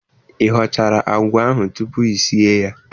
Ị họchara àgwà ahụ tupu i sie ya?